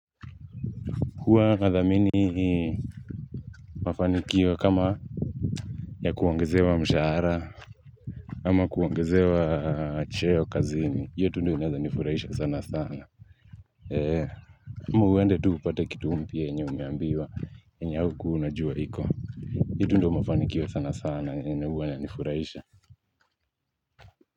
Huwa nadhamini mafanikio kama ya kuongezea mshahara au kuongezewa cheo kazini. Hiyo tu ndyo inaweza nifurahisha sana sana ama uende tu upate kitu mpya yrnye umrambiwa yenye haukuwa unajua iko. Hiyo tu ndyo mafanikio sana sana yenue huwa inanifurahisha.